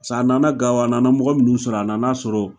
Sa a nana Gao, a nana mɔgɔ minnu sɔrɔ a nana sɔrɔ